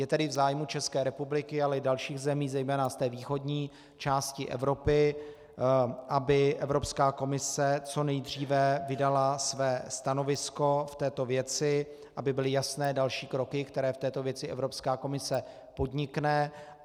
Je tedy v zájmu České republiky, ale i dalších zemí, zejména z té východní části Evropy, aby Evropská komise co nejdříve vydala své stanovisko v této věci, aby byly jasné další kroky, které v této věci Evropská komise podnikne.